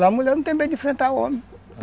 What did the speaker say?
Lá a mulher não tem medo de enfrentar o homem.